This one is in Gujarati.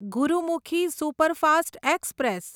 Gurumukhi superfast express